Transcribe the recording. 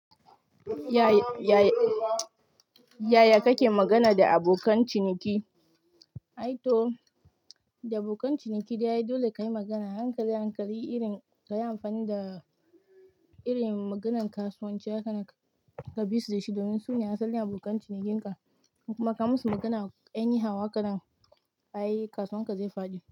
Yaya kake magana da abokan ciniki? Aito da abokan ciniki, dole ka yi magana hankali-hankali, irin kayi amfani da irin maganan kasuwanci aka kabi su dashi. Domin su ne asalin abokan cinikinka. Kuma ka musu magana 'ine hau kaɗan, ayi kasuwan ka zai faɗi.